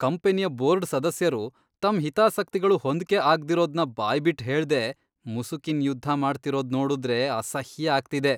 ಕಂಪನಿಯ ಬೋರ್ಡ್ ಸದಸ್ಯರು ತಮ್ ಹಿತಾಸಕ್ತಿಗಳು ಹೊಂದ್ಕೆ ಆಗ್ದಿರೋದ್ನ ಬಾಯ್ಬಿಟ್ ಹೇಳ್ದೆ ಮುಸುಕಿನ್ ಯುದ್ಧ ಮಾಡ್ತಿರೋದ್ ನೋಡುದ್ರೆ ಅಸಹ್ಯ ಆಗ್ತಿದೆ.